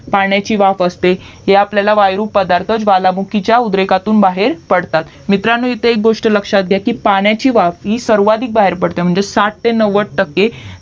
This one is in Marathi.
पाण्याची वाफ असते ते आपल्याला वायु रूपात पदार्थ ज्वालामुखीच्या उद्रेखातून बाहेर पडतात मित्रांनो इथे एक गोष्ट लक्ष्यात घ्या की पाण्याची वाफ ही सर्वाधिक बाहेर पडते साठ ते नव्वद टक्के